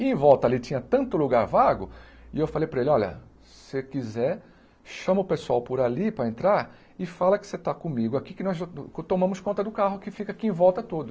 E em volta ali tinha tanto lugar vago, e eu falei para ele, olha, se você quiser, chama o pessoal por ali para entrar e fala que você está comigo aqui, que nós va tomamos conta do carro que fica aqui em volta todo.